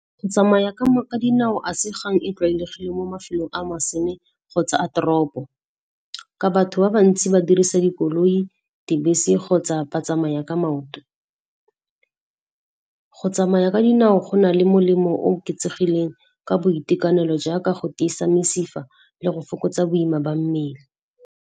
Go tsamaya ka dinao a se kgang e tlwaelegile mo mafelong a masene kgotsa a toropo ka batho ba bantsi ba dirisa dikoloi, dibese kgotsa ba tsamaya ka maoto. Go tsamaya ka dinao go na le molemo o oketsegileng ka boitekanelo jaaka go tiisa mesifa le go fokotsa boima ba mmele.